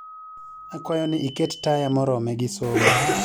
Akwayo ni iket taya morome gi somo